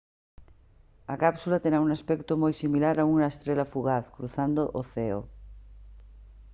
a cápsula terá un aspecto moi similar a unha estrela fugaz cruzando o ceo